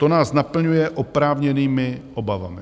To nás naplňuje oprávněnými obavami.